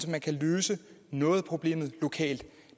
at man kan løse noget af problemet lokalt